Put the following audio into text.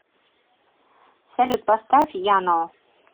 салют поставь янно